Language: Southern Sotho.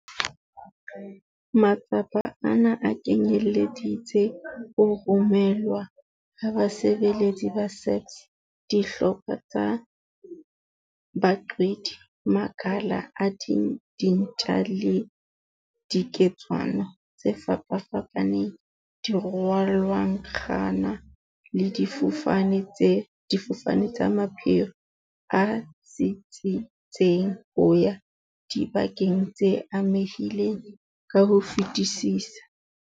Matsapa ana a kenyeleditse ho romelwa ha basebeletsi ba SAPS, dihlopha tsa baqwedi, makala a dintja le diketswana tse fapafapaneng, dirwalankgwana le difofane tsa mapheo a tsitsitseng ho ya dibakeng tse amehileng ka ho fetisisa.